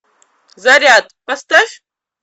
заряд поставь